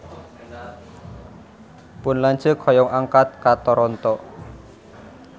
Pun lanceuk hoyong angkat ka Toronto